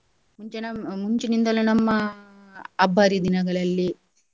ಮುಂಚೆ ನಮ್~ ಮುಂಚಿನಿಂದಲೂ ನಮ್ಮ ಹಬ್ಬ ಹರಿ ದಿನಗಳಲ್ಲಿ